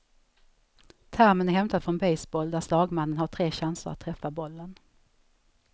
Termen är hämtad från baseball där slagmannen har tre chanser att träffa bollen.